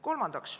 Kolmandaks.